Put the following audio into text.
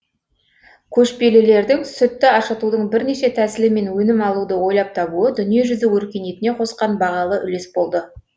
көшпелілердің сүтті ашытудың бірнеше тәсілі мен өнім алуды ойлап табуы дүниежүзі өркениетіне қосқан бағалы үлес болды